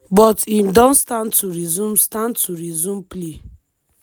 but im don stand to resume stand to resume play.